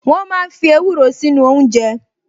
Wọ́n máa ń fi ewúro sínú oúnjẹ